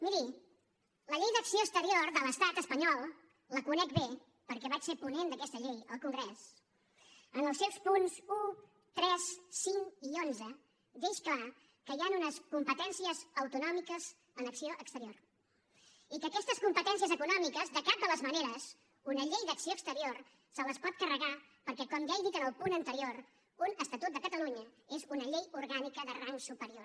miri la llei d’acció exterior de l’estat espanyol la conec bé perquè vaig ser ponent d’aquesta llei al congrés en els seus punts un tres cinc i onze deixa clar que hi han unes competències autonòmiques en acció exterior i que aquestes competències autonòmiques de cap de les maneres una llei d’acció exterior se les pot carregar perquè com ja he dit en el punt anterior un estatut de catalunya és una llei orgànica de rang superior